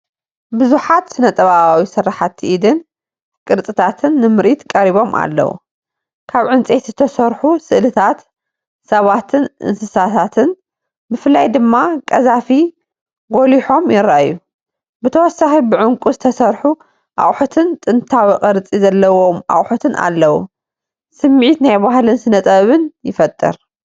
ብዙሓት ስነ-ጥበባዊ ስርሓት ኢድን ቅርጻታትን ንምርኢት ቀሪቦም ኣለዉ። ካብ ዕንጨይቲ ዝተሰርሑ ስእልታት ሰባትን እንስሳታትን ብፍላይ ድማ ቀዛፊ ጐሊሖም ይረኣዩ። ብተወሳኺ ብዕንቊ ዝተሰርሑ ኣቑሑትን ጥንታዊ ቅርጺ ዘለዎም ኣቑሑትን ኣለዉ። ስምዒት ናይ ባህልን ስነጥበብን ይፈጥር።